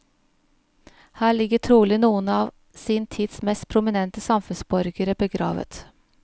Her ligger trolig noen av sin tids mest prominente samfunnsborgere begravet.